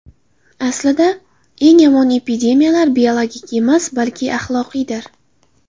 Aslida, eng yomon epidemiyalar biologik emas, balki axloqiydir.